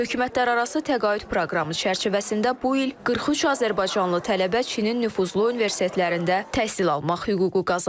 Hökumətlərarası təqaüd proqramı çərçivəsində bu il 43 azərbaycanlı tələbə Çinin nüfuzlu universitetlərində təhsil almaq hüququ qazanıb.